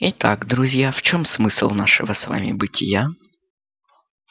итак друзья в чём смысл нашего с вами бытия